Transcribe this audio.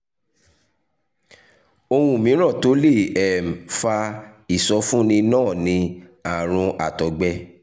ohun mìíràn tó lè um fa ìsọfúnni náà ni àrùn àtọgbẹ